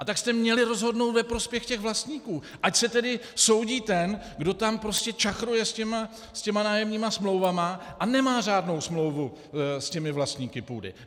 A tak jste měli rozhodnout ve prospěch těch vlastníků, ať se tedy soudí ten, kdo tam prostě čachruje s těmi nájemními smlouvami a nemá řádnou smlouvu s těmi vlastníky půdy.